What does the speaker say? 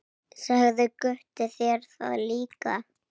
Sagði Gutti þér það líka?